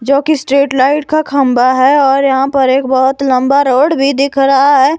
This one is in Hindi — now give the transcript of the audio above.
जोकि स्ट्रीट लाइट का खंबा है और यहां पर एक बहोत लंबा रोड भी दिख रहा है।